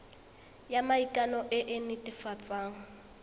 ya maikano e e netefatsang